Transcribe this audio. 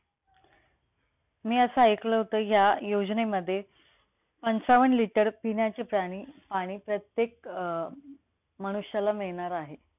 मी असं ऐकलं होत, ह्या योजनेमध्ये पंचावन्न liter पिण्याचे प्राणी पाणी आणि प्रत्येक अं मनुष्याला मिळणार आहे.